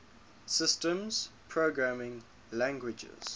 systems programming languages